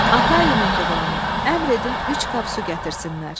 Atayi mehribanım, əmr edin üç qap su gətirsinlər.